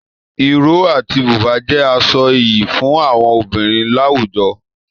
Iro àti buba jẹ aṣọ ìyí fún àwọn obìnrin láwùjọ.